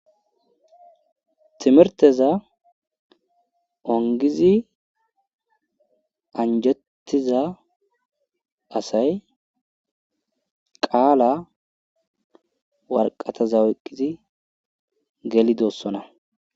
timirteza ongizi anjettiza asay qaala warqataza oyqizi geli doossona